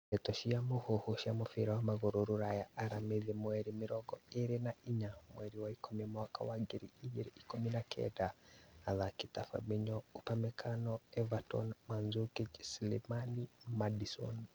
deto cia mũhuhu cia mũbira wa magũrũ Rũraya aramithi mweri mĩrongo ĩrĩ na inya mweri wa ikũmi mwaka wa ngiri igĩrĩ ikũmi na kenda athaki ta Fabinho, Upamecano, Everton, Mandzukic, Slimani, Maddison